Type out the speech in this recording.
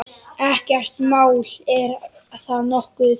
Ekkert mál, er það nokkuð?